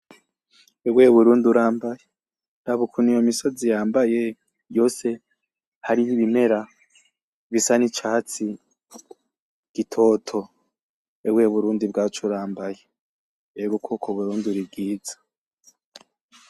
Ewe Burundi urambaye! Raba ukuntu iyo misozi yambaye yose harih'ibimera bisa n'icatsi gitoto. Ewe Burundi bwacu urambaye, ego koko Burundi uribwiza.